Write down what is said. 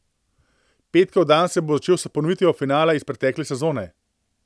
Petkov dan se bo začel s ponovitvijo finala iz pretekle sezone.